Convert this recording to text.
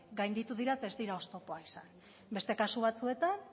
gainditu dira eta ez dira oztopoak izan beste kasu batzuetan